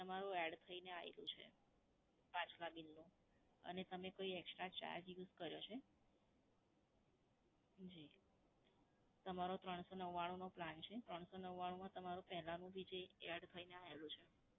તમારું add થઈને આયેલું છે પાછલાં bill નું, અને તમે કોઈ extra charge use યુજ કર્યો છે? જી. તમારો ત્રણસો નવ્વાણું નો plan છે. ત્રણસો નવ્વાણું માં તમારું પહેલાનું ભી જે add થઈને આયેલું છે.